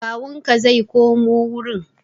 Kawunka zai kaimu wurin.